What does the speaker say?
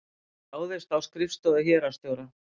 Ráðist á skrifstofur héraðsstjóra